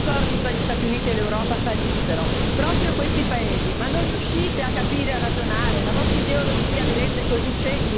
E chi trarrebbe vantaggio se gli accordi fra gli Stati Uniti e l'Europa fallissero? Proprio questi paesi. Ma non riuscite a capire e ragionare?